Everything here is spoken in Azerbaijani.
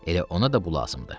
Elə ona da bu lazım idi.